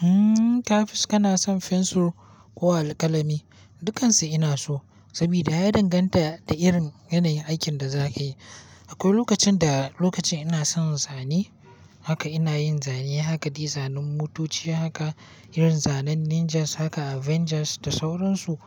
Hmm, kafiz kana son fensir ko alkalami? Dukansu ina so, sabida ya danganta da irin yanayin aikin da zaka yi. Akwai lokacin da lokacin ina son zane haka ina yin zane haka dizainin motoci haka, irin zanen ninjas haka avengers da sauransu.